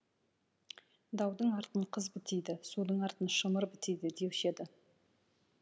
даудың артын қыз бітейді судың артын шымыр бітейді деуші еді